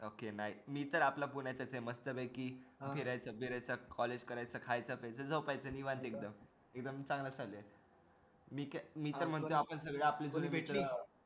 okay मी तर आपला पुण्यातच आहे मस्तपैकी फिरायचं बिरायच college करायचं खायचं प्यायचं झोपायचं निवांत एकदम एकदम मी तर म्हणतो एकदम सगळी भेटली